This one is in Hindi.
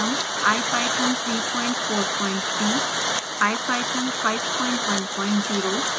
python 343